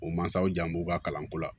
O mansaw jan b'u ka kalanko la